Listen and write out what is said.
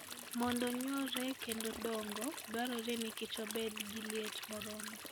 Mondo nyuolre kendo dongo, dwarore ni Kichobed gi liet moromo.